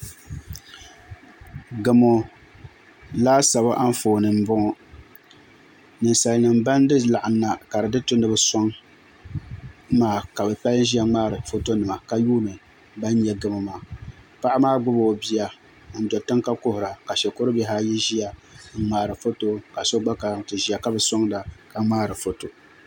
Gamo laasabu Anfooni nim n boŋo ninsal nim ban laɣam na ka di di tu ni bi soŋ maa ka bi chɛba ka ŋmaarila foto nima ka yuundi ban nyɛ gamo maa paɣa maa gbubi o bia n do tiŋ ka kuhura ka shikuru bihi ayi ʒiya n ŋmaari foto ka so gba kana ti ʒiya ka bi soŋda ka ŋmaari foto